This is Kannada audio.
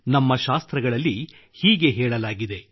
ನಮ್ಮ ಶಾಸ್ತ್ರಗಳಲ್ಲಿ ಹೀಗೆ ಹೇಳಲಾಗಿದೆ